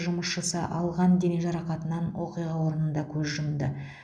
жұмысшысы алған дене жарақатынан оқиға орнында көз жұмды